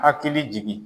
Hakili jigin